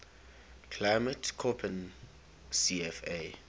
climate koppen cfa